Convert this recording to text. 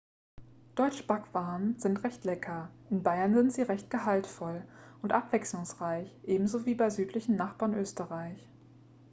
deutsche backwaren sind recht lecker in bayern sind sie recht gehaltvoll und abwechslungsreich ebenso wie beim südlichen nachbarn österreich